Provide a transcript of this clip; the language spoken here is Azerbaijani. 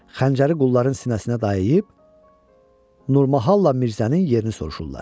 Xəncəri qulların sinəsinə dayıyıb Nurmahalla Mirzənin yerini soruşurlar.